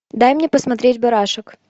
дай мне посмотреть барашек